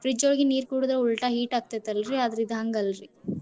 Fridge ಒಳಗಿನ ನೀರ್ ಕುಡದ್ರ್ ಉಲ್ಟಾ heat ಆಗ್ತೇತಲ್ರಿ ಆದ್ರ ಇದ್ ಹಂಗಲ್ರಿ.